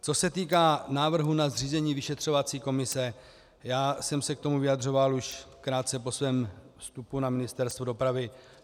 Co se týká návrhu na zřízení vyšetřovací komise, já jsem se k tomu vyjadřoval už krátce po svém vstupu na Ministerstvo dopravy.